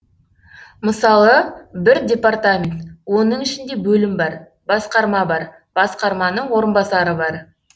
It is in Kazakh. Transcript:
мысалы бір департамент оның ішінде бөлім бар басқарма бар басқарманың орынбасары бар